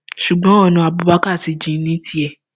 ṣùgbọn ọnà abubakar ti jìn ní tiẹ